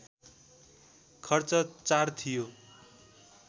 खर्च ४ थियो